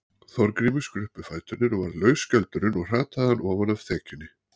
Þorgrími skruppu fæturnir og varð laus skjöldurinn og hrataði hann ofan af þekjunni.